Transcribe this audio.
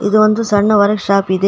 ಇದು ಒಂದು ಸಣ್ಣ ವರ ಶಾಪ್ ಇದೆ.